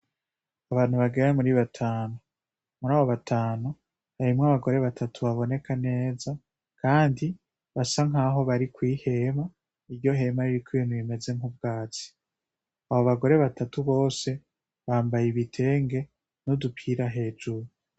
Abantu bagera muri batanu, muri abo batanu harimwo abagore batatu baboneka neza kandi basa nk’aho bari kw'ihema, iryo hema ririko ibintu bimeze nk’ubwatsi. Aba bagore batatu bose bambaye ibitenge n’udupira hejuru.